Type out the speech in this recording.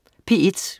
P1: